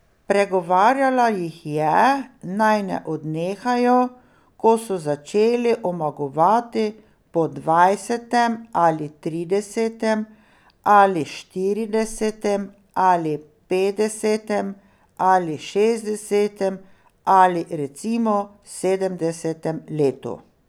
Pregovarjala jih je, naj ne odnehajo, ko so začeli omagovati po dvajsetem ali tridesetem ali štiridesetem ali petdesetem ali šestdesetem ali recimo sedemdesetem letu.